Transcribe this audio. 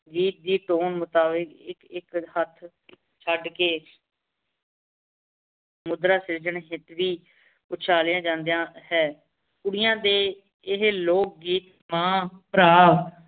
ਜੀ ਜੀ ਛੱਡ ਕੇ ਮੁਦਰਾ ਸਿਰਜਣ ਉਛਾਲਿਆ ਜਾਂਦਾ ਹੈਂ ਕੁੜੀਆਂ ਦੇ ਇਹ ਲੋਕ ਗੀਤ ਮਾਂ ਭਰਾਂ